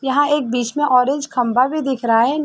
यहाँ एक बीच में ऑरेंज खंबा भी दिख रहा है।